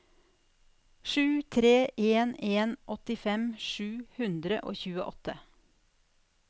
sju tre en en åttifem sju hundre og tjueåtte